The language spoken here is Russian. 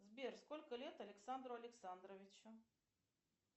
сбер сколько лет александру александровичу